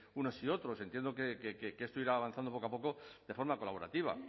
unos y otros entiendo que esto irá avanzando poco a poco de forma colaborativa